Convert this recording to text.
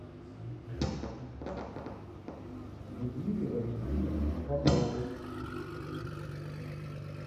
людмиле валентиновне поповой